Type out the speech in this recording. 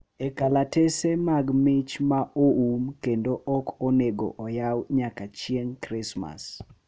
E kalatese mag mich ma oum kendo ok onego oyaw nyaka chieng’ Krismas.